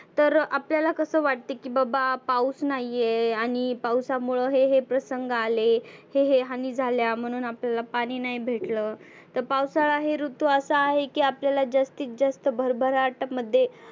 तर आपल्याला कसं वाटतं की बाबा पाऊस नाहिए आणि पावसामुळे हे हे प्रसंग आले. हे हे हानी झाल्या म्हणुन आपल्याला पाणि नाही भेटलं. तर पावसाळा हे ऋतू असा आहे की आपल्याला जास्तीत जास्त भरभराट मध्ये